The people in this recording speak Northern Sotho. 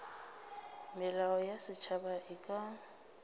melao ya setšhaba e ka